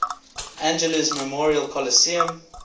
angeles memorial coliseum